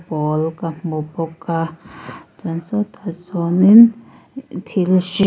pawl ka hmu bawk a chuan sawtah sawnin thil hri--